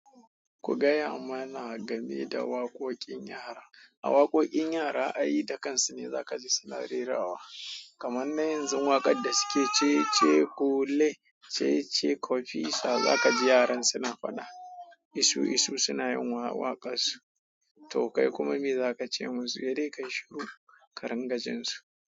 Ku gaya mana game da waƙoƙin yara. A waƙoƙin yara, ai da kansu ne za kaji suna rerawa. Kaman na yanzu waƙar da suke cece kule, cece kofisa, za kaji yaran suna faɗa isu-isu suna yin waƙansu. To kai kuma me za ka ce musu? Sedai kayi shiru, ka ringa jinsu.